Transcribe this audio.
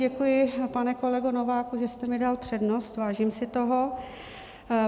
Děkuji, pane kolego Nováku, že jste mi dal přednost, vážím si toho.